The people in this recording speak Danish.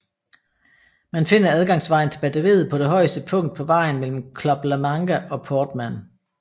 Man finder adgangsvejen til batteriet på det højeste punkt på vejen mellem Club la Manga og Portmán